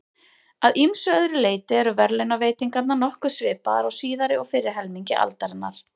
Að ýmsu öðru leyti eru verðlaunaveitingarnar nokkuð svipaðar á síðari og fyrri helmingi aldarinnar.